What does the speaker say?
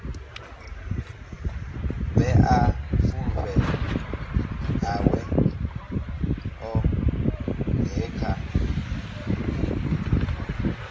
vhea fulufhelo ḽawe ḽoṱhe kha